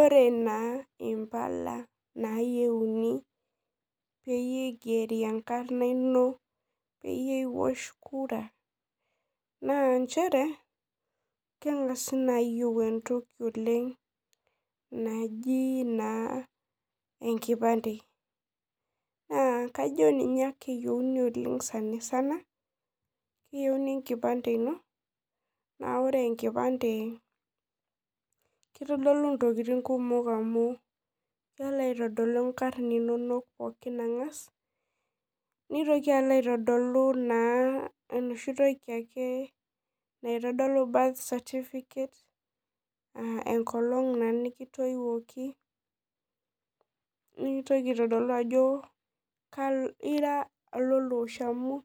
Ore na impala nayieuni peyie igeri enkarna ino oeyie iwosh kura na nchere kengasai ayieu entoki naji enkipande na kajo ninye eyieuni oleng duo sanisana keyieuni enkipande ino na ore enkipande na kelo aitodolu nkarn inonok angas nitoki alo aitodolu eboshi toki naitodolu[cs[ birthday certificate enkolong nikitoiwoki nikintokibaitodol ajo ira olialo osho amu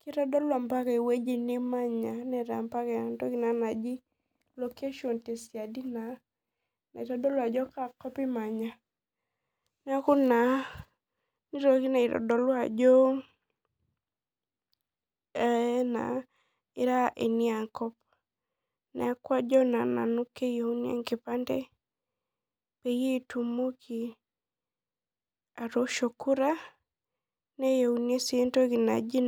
kitadolu ewoi nimanya amu tesiadi naitodolu ajo kaakop imanya neaku naa nitoki na aitodolu ajo ira eniakop neaku kajo nanu keyieuni enkipande peyie itumoki atoosho kura neyieuni si entoki naji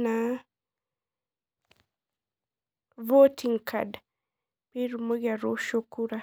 voting card pitumoki atoosho kura.